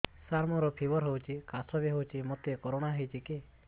ସାର ମୋର ଫିବର ହଉଚି ଖାସ ବି ହଉଚି ମୋତେ କରୋନା ହେଇଚି କି